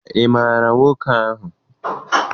Ị maara nwoke ahụ?